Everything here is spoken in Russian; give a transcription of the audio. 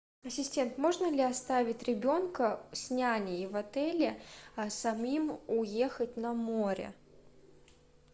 ассистент можно ли оставить ребенка с няней в отеле а самим уехать на море